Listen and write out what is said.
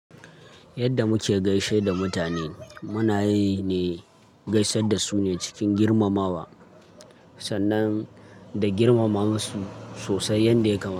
Yadda muke gaishe da mutane, muna yi ne gaisar da su ne cikin girmamawa sannan da girmama musu sosai yanda ya kamata.